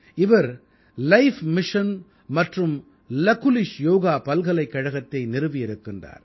இவர் life mission மற்றும் Lakulish yoga பல்கலைக்கழகத்தை நிறுவியிருக்கிறார்